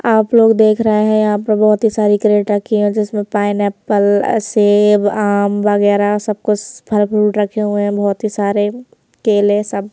आप लोग देख रहे हैंयहाँ पर बहुत ही सारी क्रेट रखी है जिसमें पाइनएप्पल सेब आम वगैरह सब कुछ फल फ्रूट रखे हुए हैं बहुत ही सारे केले सब--